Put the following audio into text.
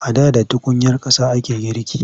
A da da tukunyar ƙasa ake girki.